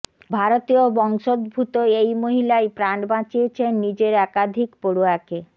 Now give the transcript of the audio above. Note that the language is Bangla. ভারতীয় বংশোদ্ভূত এই মহিলাই প্রাণ বাঁচিয়েছেন নিজের একাধিক পড়ুয়াকে